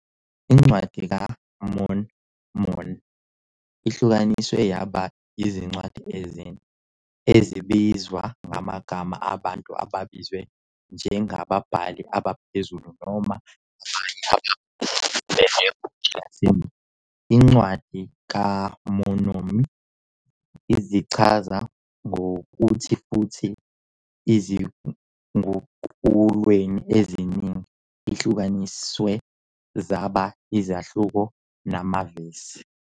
Ubuye futhi wasekela ozongenela ukhetho lukaZuma, uNkosazana Dlamini-Zuma, emkhankasweni wakhe wokungena esikhundleni sakhe njengomholi we-ANC kanye noMongameli waseNingizimu Afrika.